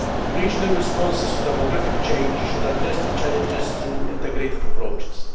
Regional responses to demographic change should address the challenges through integrated approaches.